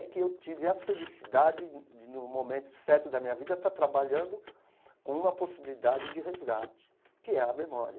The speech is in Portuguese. É que eu tive a felicidade de de, num momento certo da minha vida, estar trabalhando com uma possibilidade de resgate, que é a memória.